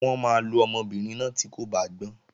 Wọ́n máa lo ọmọbìnrin náà tí kò bá gbọ́n